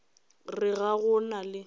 re ga go na le